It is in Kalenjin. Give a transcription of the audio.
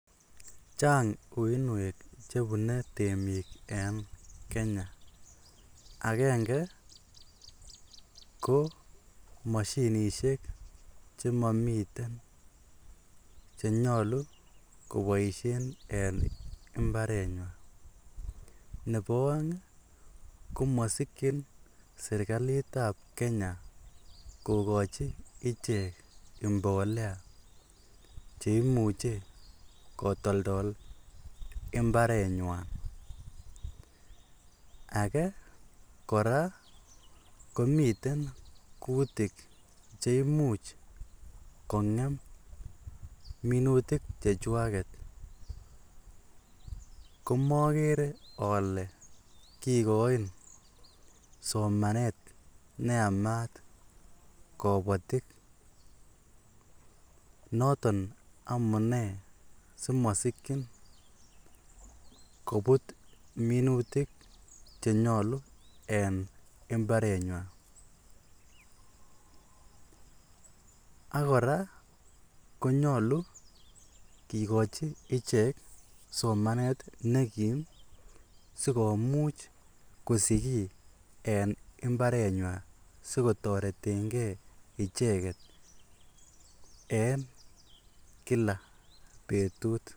chang uinweek chebune temiik en kenya, agenge ko moshinishek chemomiten chenyolu koboishen en imbareet nywaan, nebo oeng iih komosikyin serkaliit ab kenya kogochi icheek imbolea cheimuche kotoldol imbareet nywaan, agee koraa komiten kutik cheimuch kongeem minutik chechwaget komogere ole kigoin somaneet neyamaat kobotik noton amunee simosikyiin kobuut minutik chenyolu en imbareet nywaan, ak koraa konyolu kigochi ichek somaneet negiim sigomuch kosich kii en imbareet nywaan sigotoretengee icheget en kila betut.